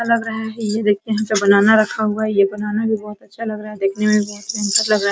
अच्छा लग रहा है ये देखते हैं नीचे बनाना रखा हुआ है यह बनाना भी बहुत अच्छा लग रहा है देखने में भी बहुत सुंदर लग रहा है ।